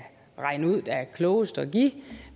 regne ud er klogest at give